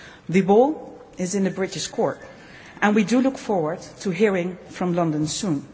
The ball is in the British court and we look forward to hearing from London soon.